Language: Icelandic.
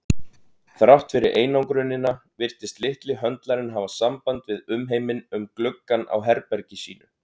Þrátt fyrir einangrunina virtist litli höndlarinn hafa samband við umheiminn um gluggann á herbergi sínu.